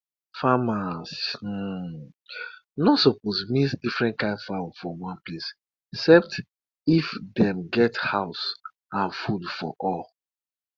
before time to plant go come the elders dey use fowl take do ritual as per say na one of animal sacrifice.